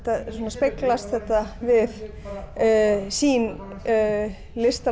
speglast þetta við sýn listamanna